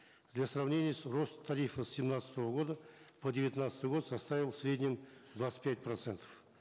для сравнения рост тарифа с семнадцатого года по девятнадцатый год составил в среднем двадцать пять процентов